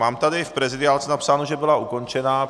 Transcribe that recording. Mám tady v prezidiálce napsáno, že byla ukončena.